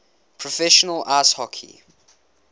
professional ice hockey